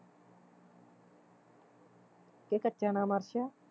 ਕਿ ਕੱਚਾ ਨਾਮ ਅਰਸ਼ ਆ